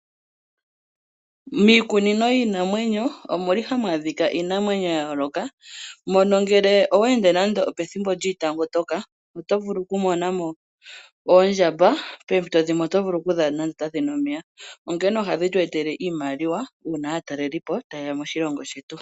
Miikunino yiinamwenyo omu li hamu adhika iinamwenyo ya yooloka, mono ngele owe ende nande opethimbo lyiitangotoka oto vulu okumona mo oondjamba. Poompito dhimwe oto vulu okudhi adha nande otadhi nu omeya . Onkene ohadhi tu etele iimaliwa uuna aatalelipo taye ya moshilongo shetu.